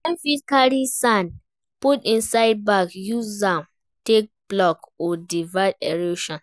Dem fit carry sand put inside bag use am take block or divert erosion